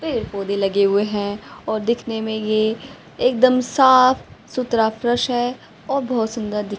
पेड़ पौधे लगे हुए हैं और दिखने में ये एकदम साफ सुथरा फ्रेश है और बहोत सुंदर दि--